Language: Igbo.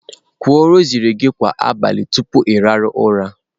Kwuo rosary gị kwa abalị tupu ị hie ụra!.